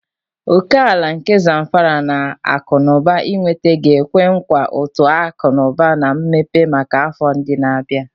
Oke ala nke Zamfara na akụ na ụba ịnweta ga-ekwe nkwa uto akụ na ụba na mmepe maka afọ ndị na-abịa.